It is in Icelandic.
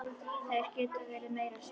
Þær geta verið meira saman.